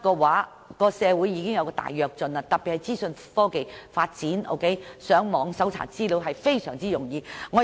其實，社會迅速發展，特別是資訊科技發展迅速，上網搜尋資料也相當容易。